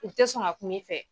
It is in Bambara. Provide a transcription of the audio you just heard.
U te sɔn ŋa kum'i fɛ.